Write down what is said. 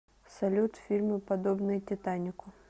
салют фильмы подобные титанику